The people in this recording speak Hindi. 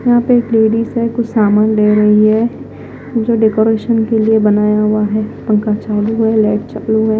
यहां पे एक लेडिस है कुछ सामान ले रही है जो डेकोरेशन के लिए बनाया हुआ है। पंखा चालू है लाइट चालू है।